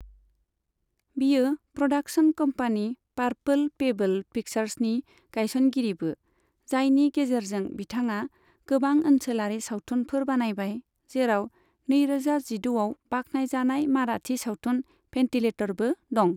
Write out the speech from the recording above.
बियो production company purple pebble पिक्चार्सनि गायसनगिरिबो, जायनि गेजेरजों बिथाङा गोबां ओनसोलारि सावथुनफोर बानायबाय, जेराव नैरोजा जिद' आव बाख्नायजानाय माराठी सावथुन भेन्टिलेटरबो दं।